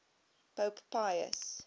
pope pius